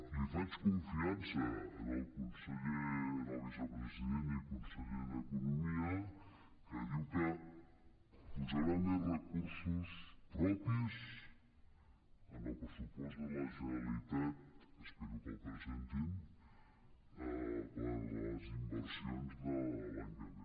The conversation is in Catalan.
li faig confiança al vicepresident i conseller d’economia que diu que posarà més recursos propis en el pressupost de la generalitat espero que el presentin per a les inversions de l’any que ve